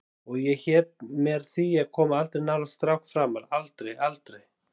Og hét mér því að koma aldrei nálægt strák framar, aldrei, aldrei.